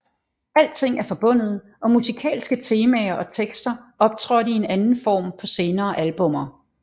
Alting er forbundet og musikalske temaer og tekster optrådte i en anden form på senere albummer